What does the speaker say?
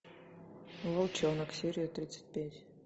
волчонок серия тридцать пять